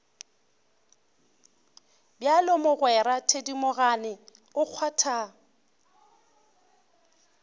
bjalo mogwera thedimogane o kgwatha